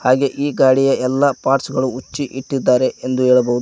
ಹಾಗೆ ಈ ಗಾಡಿಯ ಎಲ್ಲಾ ಪಾರ್ಟ್ಸ್ ಗಳು ಬಿಚ್ಚಿ ಇಟ್ಟಿದ್ದಾರೆ ಎಂದು ಹೇಳಬಹುದು.